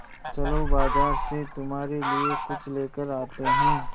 चलो बाज़ार से तुम्हारे लिए कुछ लेकर आते हैं